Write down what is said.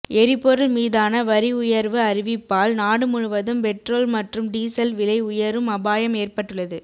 எரிபொருள் மீதான வரி உயர்வு அறிவிப்பால் நாடு முழுவதும் பெட்ரோல் மற்றும் டீசல் விலை உயரும் அபாயம் ஏற்பட்டுள்ளது